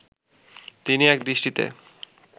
তিনি একদৃষ্টিতে